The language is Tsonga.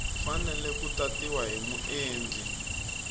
fanele ku tatiwa hi muendli